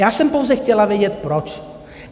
Já jsem pouze chtěla vědět, proč.